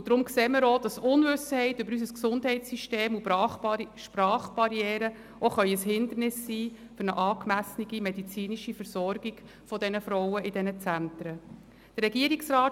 Wir sehen auch, dass die Unwissenheit über unser Gesundheitssystem sowie Sprachbarrieren ein Hindernis für eine angemessene medizinische Versorgung dieser Frauen in den Zentren sein können.